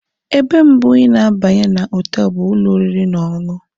Ebe mbụ ị na-abanye na họtel bụ ụlọ oriri na ọṅụṅụ.